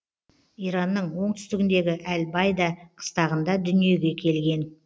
иранның оңтүстігіндегі әл байда қыстағында дүниеге келген